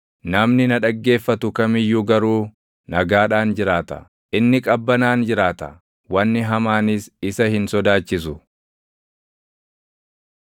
namni na dhaggeeffatu kam iyyuu garuu nagaadhaan jiraata; inni qabbanaan jiraata; wanni hamaanis isa hin sodaachisu.”